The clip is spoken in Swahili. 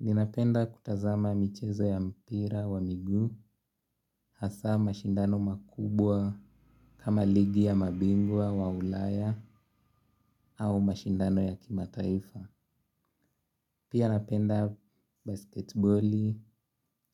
Ninapenda kutazama michezo ya mpira wa miguu hasa mashindano makubwa kama ligi ya mabingwa wa ulaya au mashindano ya kimataifa. Pia napenda basketboli